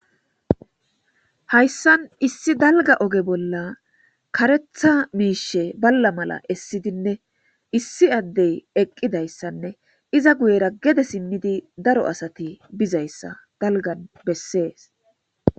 Hayssan issi dalga oge bolla karetha miishe balla mala essidinne issi addey eqqidayssanne iza guyera gede simnidi daro asati bizayssa dalgan bessees.